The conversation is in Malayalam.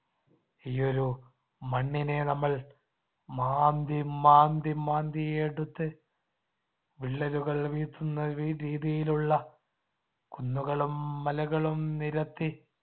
ഈ ഒരു മണ്ണിനെ നമ്മൾ മാന്തി മാന്തി മാന്തിയെടുത്ത് വിള്ളലുകൾ വീഴ്‌ത്തുന്ന രീതിതിയിലുള്ള കുന്നുകളും മലകളും നിരത്തി